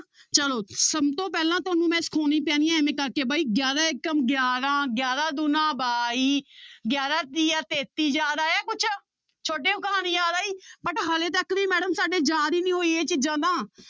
ਚਲੋ ਸਭ ਤੋਂ ਪਹਿਲਾਂ ਤੁਹਾਨੂੰ ਮੈਂ ਇਵੇਂ ਕਰਕੇ ਬਾਈ ਗਿਆਰਾਂ ਏਕਮ ਗਿਆਰਾਂ, ਗਿਆਰਾਂ ਦੂਣਾ ਬਾਈ ਗਿਆਰਾਂ ਤੀਆ ਤੇਤੀ ਯਾਦ ਆਇਆ ਕੁਛ ਛੋਟੇ ਕਹਾਣੀ ਯਾਦ ਆਈ but ਹਾਲੇ ਤੱਕ ਵੀ madam ਸਾਡੇ ਯਾਦ ਹੀ ਨੀ ਹੋਈ ਇਹ ਚੀਜ਼ਾਂ ਤਾਂ